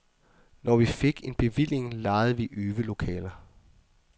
Når vi fik en bevilling, lejede vi øvelokaler.